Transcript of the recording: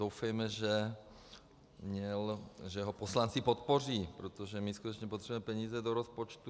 Doufejme, že ho poslanci podpoří, protože my skutečně potřebujeme peníze do rozpočtu.